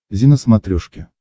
зи на смотрешке